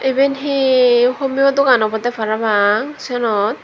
iben he homeo dogan obwdey parapang senot.